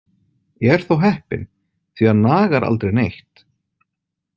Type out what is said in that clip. Ég er þó heppinn, því hann nagar aldrei neitt.